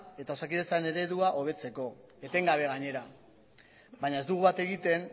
eta osakidetzaren eredua hobetzeko etengabe gainera baina ez dugu bat egiten